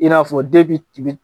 I n'a fɔ den bi tubite